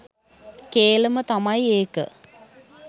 කේලම තමයි ඒක